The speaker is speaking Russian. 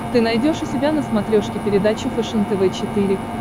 ты найдешь у себя на смотрешке передачу фэшен тв четыре к